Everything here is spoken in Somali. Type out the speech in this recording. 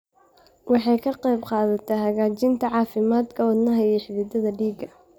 Waxay ka qaybqaadataa hagaajinta caafimaadka wadnaha iyo xididdada dhiigga.